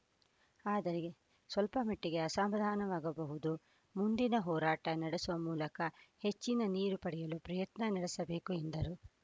ಆದರೆ ಸ್ಪಲ್ಪಮಟ್ಟಿಗೆ ಅಸಮಾಧಾನವಾಗಬಹುದು ಮುಂದಿನ ಹೋರಾಟ ನಡೆಸುವ ಮೂಲಕ ಹೆಚ್ಚಿನ ನೀರು ಪಡೆಯಲು ಪ್ರಯತ್ನ ನಡೆಸಬೇಕು ಎಂದರು